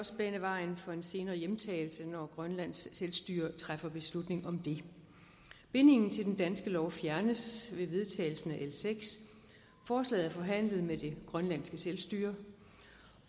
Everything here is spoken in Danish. også bane vejen for en senere hjemtagelse når grønlands selvstyre træffer beslutning om det bindingen til den danske lov fjernes med vedtagelsen af l sjette forslaget er forhandlet med det grønlandske selvstyre